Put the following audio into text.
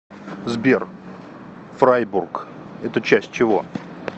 сбер фрайбург это часть чего